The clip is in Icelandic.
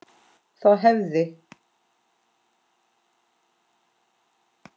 Þá hefði